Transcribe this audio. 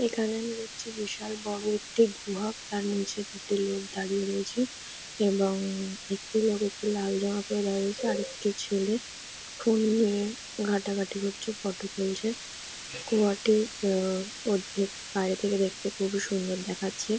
এখানে আমি দেখছি বিশাল বড়ো একটি গুহা তার নিচে দুটি লোক দাঁড়িয়ে রয়েছে এবং-ঙ-ঙ একটি লোক একটি লাল জামা পরে দাঁড়িয়ে রয়েছে আর একটি ছেলে ফোন নিয়ে ঘাটাঘাটি করছে ফটো তুলছে গুহাটি আ-আ ওর ভিত বাইরে থেকে দেখতে খুবই সুন্দর দেখাচ্ছে।